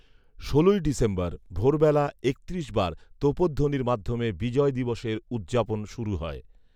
ষোলই December ভোরবেলা একত্রিশ বার তোপধ্বনির মাধ্যমে বিজয় দিবসের উৎযাপন শুরু হয়